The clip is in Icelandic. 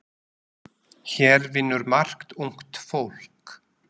Hér vinnur margt ungt fólk.